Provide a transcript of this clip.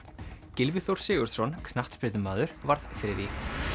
Gylfi Þór Sigurðsson knattspyrnumaður varð þriðji